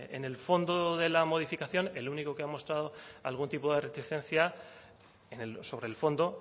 en el fondo de la modificación el único que ha mostrado algún tipo de reticencia sobre el fondo